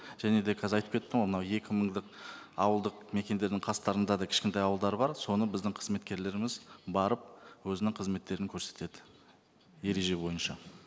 және де қазір айтып кеттім ғой мына екі мыңдық ауылдық мекендердің қастарында да кішкентай ауылдар бар соны біздің қызметкерлеріміз барып өзінің қызметтерін көрсетеді ереже бойынша